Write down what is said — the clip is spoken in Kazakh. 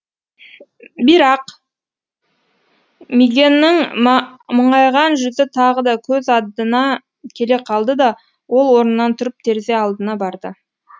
бирақ мигэннің мұңайған жүзі тағы да көз аддына келе қалды да ол орнынан тұрып терезе алдына барды